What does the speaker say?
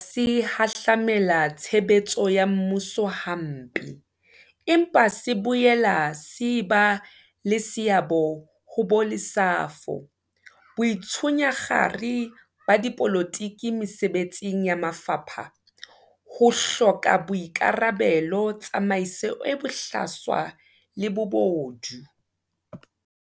Se hahlamela tshebetso ya mmuso hampe, empa se boela se e ba le seabo ho bolesafo, boitshunyakgare ba dipolotiki mesebetsing ya mafapha, ho hloka boikarabelo, tsamaiso e bohlaswa le bobodu.